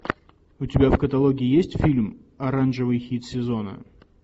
у тебя в каталоге есть фильм оранжевый хит сезона